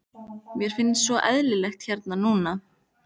Mér finnst svo eyðilegt hérna núna.